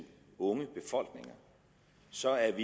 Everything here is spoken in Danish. unge befolkninger så er